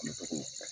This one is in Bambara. An bɛ tɔgɔ fɔ